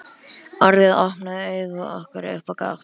Orðið opnaði augu okkar upp á gátt.